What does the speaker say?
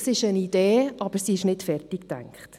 Es ist eine Idee, aber sie ist nicht zu Ende gedacht.